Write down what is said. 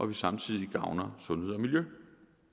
vi samtidig gavner sundhed og miljø